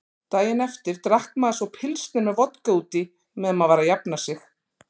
Daginn eftir drakk maður svo pilsner með vodka útí meðan maður var að jafna sig.